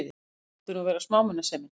Fyrr mátti nú vera smámunasemin!